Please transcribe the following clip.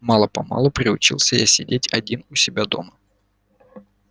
мало-помалу приучился я сидеть один у себя дома